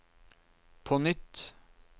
på nytt